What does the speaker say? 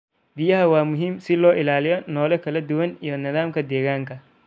Biyaha waa muhiim si loo ilaaliyo noole kala duwan iyo nidaamyada deegaanka.